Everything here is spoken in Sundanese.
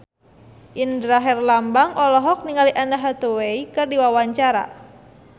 Indra Herlambang olohok ningali Anne Hathaway keur diwawancara